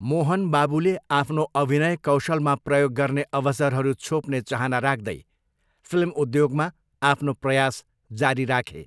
मोहन बाबुले आफ्नो अभिनय कौशलमा प्रयोग गर्ने अवसरहरू छोप्ने चाहना राख्दै फिल्म उद्योगमा आफ्नो प्रयास जारी राखे।